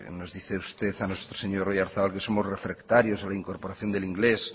nos dice a usted a nosotros señor oyarzabal que somos refractarios a la incorporación del inglés